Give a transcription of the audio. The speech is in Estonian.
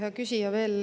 Hea küsija!